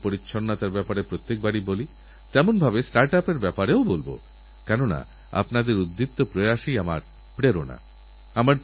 Nelson ম্যাণ্ডেলার সঙ্গে একসঙ্গে কাঁধে কাঁধে মিলিয়ে লড়াই করেছেনকুড়িবাইশ বছর ধরে জেলে নেলসন ম্যাণ্ডেলার সঙ্গে জীবন কাটিয়েছেন একরকম নিজেদেরপুরো যৌবনই তাঁরা আহুতি দিয়েছেন